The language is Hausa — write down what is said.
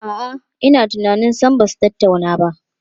A'a, ina tunanin sam ba su tattauna ba.